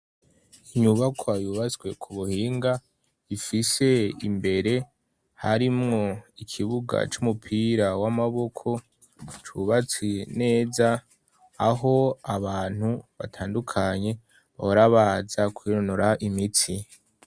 Inyubakwa yubatswe ku buhinga ifise imbere harimwo ikibuga c'umupira w'amaboko cubatse neza aho abantu batandukanye bahora baza kwironora imitsi.